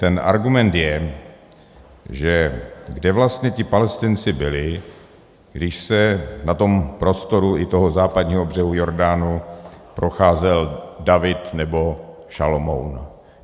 Ten argument je - že kde vlastně ti Palestinci byli, když se na tom prostoru i toho Západního břehu Jordánu procházel David nebo Šalomoun?